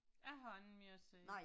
Jeg har ikke mere at sige